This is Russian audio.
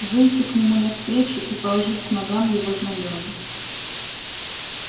выйти к нему навстречу и положить к ногам его знамёна